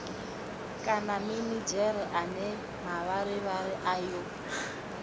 kana minidzhere ane mavharivhari ayo